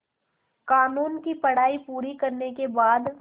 क़ानून की पढा़ई पूरी करने के बाद